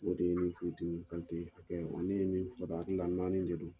O de ye nin tun dimi, Kante. Olu ye nin[ ?] naani de don